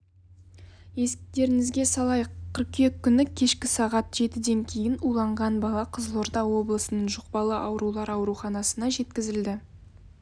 естеріңізге салайық қыркүйек күні кешкі сағат жетіден кейін уланған бала қызылорда облысының жұқпалы аурулар ауруханасына жеткізілді